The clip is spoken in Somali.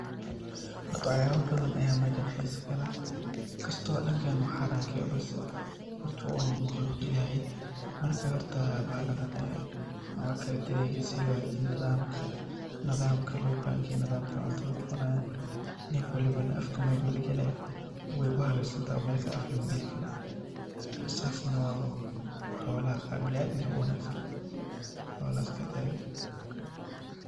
Horta waxyabo badan aya mejan hiso kaleh, inkasto dadkena uu xaraan kayahay balse waa maqluq Ilahey oo marka horta bahaladan sidha lo hagajiye nadhamka lo bangeye oo nef walbo mesha lo bangeye maogiye mel kale afka lama geli karo.